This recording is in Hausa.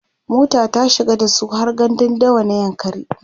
mota ta shiga dasu har gandun dawa na yankari